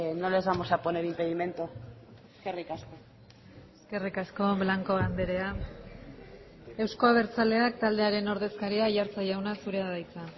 no les vamos a poner impedimento eskerrik asko eskerrik asko blanco andrea euzko abertzaleak taldearen ordezkaria aiartza jauna zurea da hitza